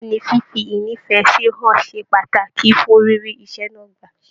Bẹ̀ẹ́ni, fífi ínífẹsí hàn ṣe pàtàkì fún rírí iṣẹ náà gbà.